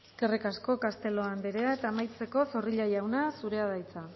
eskerrik asko castelo andrea eta amaitzeko zorrilla jauna zurea da hitza